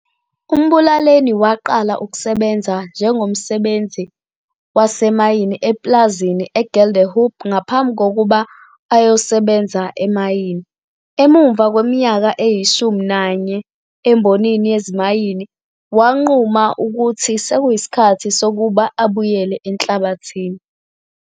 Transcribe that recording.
UMbulaleni waqala ukusebenza njengomsebenzi wasemayini epulazini e-Geldehoop ngaphambi kukuba ayosebenze emayini. Emuva kweminyaka eyishumi nanye embonini yezimayini, wanquma ukuthi seyisikhathi sokuba abuyele enhlabathini.